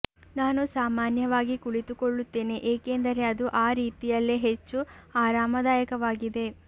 ನಾನು ಸಾಮಾನ್ಯವಾಗಿ ಕುಳಿತುಕೊಳ್ಳುತ್ತೇನೆ ಏಕೆಂದರೆ ಅದು ಆ ರೀತಿಯಲ್ಲಿ ಹೆಚ್ಚು ಆರಾಮದಾಯಕವಾಗಿದೆ